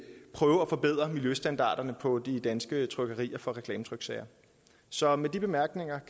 prøve at forbedre miljøstandarderne på de danske trykkerier for reklametryksager så med de bemærkninger